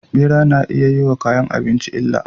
Bera nayi iyayi wa kayan abinci illa